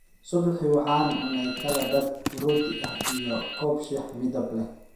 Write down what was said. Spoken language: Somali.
Subixii waxa aan cunay kala badh rooti ah iyo koob shaah midab leh